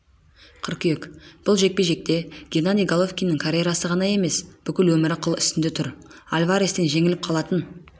қыркүйек бұл жекпе-жекте геннадий головкиннің карьерасы ғана емес бүкіл өмірі қыл үстінде тұр альварестен жеңіліп қалатын